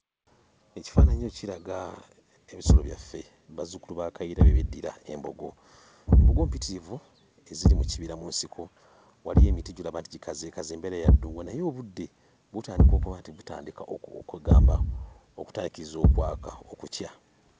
Ekifaananyi ekyo kiraga ebisolo byaffe bazzukulu ba Kayiira bye beddira; embogo. Embogo mpitirivu eziri mu kibira mu nsiko, waliyo emiti gy'olaba nti gikazeekaze, embeera ya ddungu naye obudde butandika okuba nti butandika kwe ggamba okutandiikiriza okwaka, okukya.